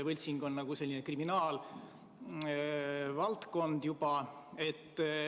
Võltsing on nagu kriminaalvaldkond juba.